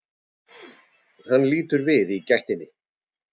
Hann lítur við í gættinni.